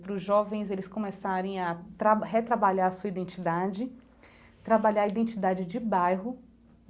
Para os jovens, eles começarem a retrabalhar a sua identidade, trabalhar a identidade de bairro.